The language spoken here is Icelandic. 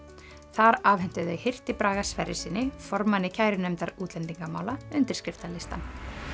þar afhentu þau hirti Braga Sverrissyni formanni kærunefndar útlendingamála undirskriftalistann